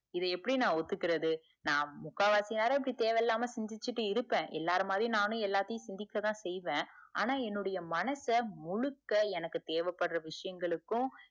இத எப்படி நா ஒத்துக்கறது நா முக்காவாசி நேரம் இப்படி தேவ இல்லாம சிந்திச்சிட்டு இருப்பா எல்லார் மாதிரியும் நானும் சிந்திக்க தான் செய்வ ஆனா என்னுடைய மனச முழுக்க எனக்கு தேவ படர விஷயங்களுக்கு,